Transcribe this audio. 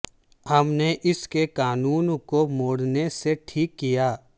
ہم نے اس کے کانوں کو موڑنے سے ٹھیک کیا